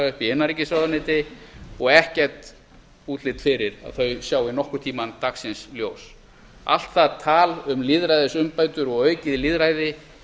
uppi í innanríkisráðuneyti og ekkert útlit fyrir að þau sjái nokkurn tímann dagsins ljós allt það tal um lýðræðisumbætur og aukið lýðræði